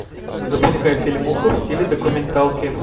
запускай фильмуху в стиле документалки